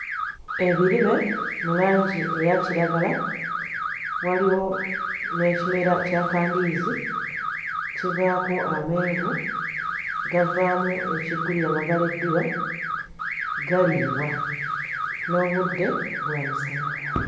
Ebirime mu langi eya kiragala waliwo n'ekimera kya kandiizi kivaako amenvu gavaamu ekiggulira amagalo eddiba galiibwa n'obudde bwa misana.